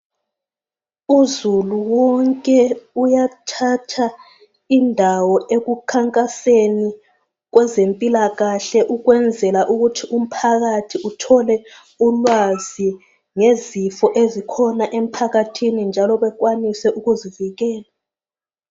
Uzulu wonke uyathatha indawo ekukhankaseni kwezempilakahle ukwenzela ukuthi uthole ulwazi ngezifo ezikhona emphakathini njalo bekwanise ukuzivikela.